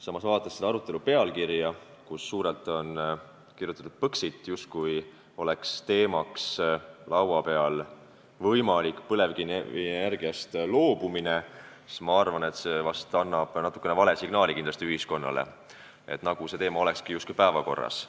Samas, vaadates selle arutelu pealkirja, kus on suurelt kirjutatud "Põxit", justkui oleks teemaks võimalik põlevkivienergiast loobumine, ma arvan, et see annab ühiskonnale natuke vale signaali, nagu see teema olekski päevakorras.